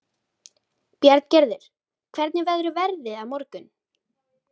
Bjarngerður, hvernig verður veðrið á morgun?